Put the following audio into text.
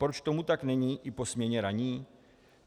Proč tomu tak není i po směně ranní?